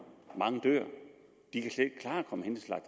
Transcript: mange dør